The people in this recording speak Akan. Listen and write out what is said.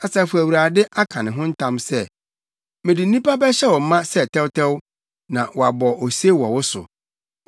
Asafo Awurade, aka ne ho ntam sɛ: mede nnipa bɛhyɛ wo ma sɛ tɛwtɛw, na wɔabɔ ose wɔ wo so.